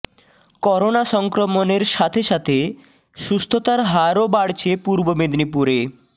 corona সংক্রমনের সাথে সাথে সুস্থতার হারও বাড়ছে পূর্ব মেদিনীপুরে